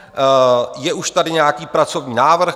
Je už tady nějaký pracovní návrh.